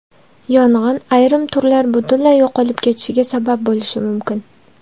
Yong‘in ayrim turlar butunlay yo‘qolib ketishiga sabab bo‘lishi mumkin.